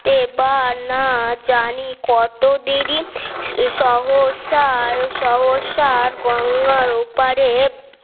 দেবানা জানি কত দেরি সহসা আর সহসার গঙ্গার ওপারে